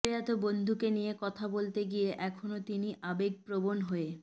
প্রয়াত বন্ধুকে নিয়ে কথা বলতে গিয়ে এখনও তিনি আবেগপ্রবণ হয়ে